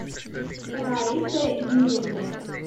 раисой юрьевной